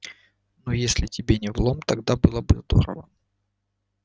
ну если тебе не в лом тогда было бы здорово